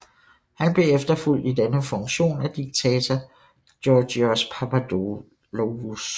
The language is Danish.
Han blev efterfulgt i denne funktion af diktator Georgios Papadopoulos